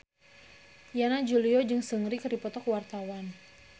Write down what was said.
Yana Julio jeung Seungri keur dipoto ku wartawan